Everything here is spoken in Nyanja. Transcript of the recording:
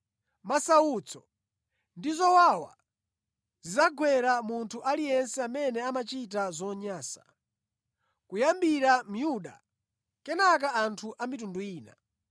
Masautso ndi zowawa zidzagwera munthu aliyense amene amachita zonyansa, kuyambira Myuda kenaka anthu a mitundu ina.